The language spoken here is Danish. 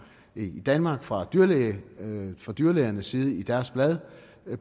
i danmark fra dyrlægernes fra dyrlægernes side i deres blad